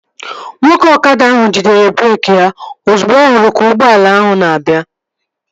Nwoke ọkada ahụ jidere breeki ya ozugbo ọ hụrụ ka ụgbọala ahụ na-abịa